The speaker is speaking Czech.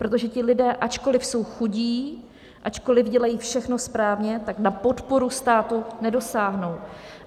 Protože ti lidé, ačkoliv jsou chudí, ačkoliv dělají všechno správně, tak na podporu státu nedosáhnou.